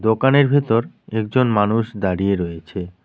দোকানের ভেতর একজন মানুষ দাঁড়িয়ে রয়েছে।